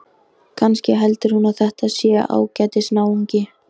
Kannski heldur hún að þetta sé ágætis náungi.